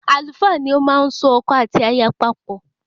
Àlùfáà ni ọ máa n so ọkọ àti aya papọ́